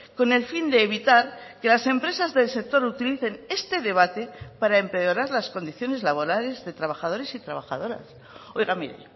con el fin de evitar que las empresas del sector utilicen este debate para empeorar las condiciones laborales de trabajadores y trabajadoras oiga mire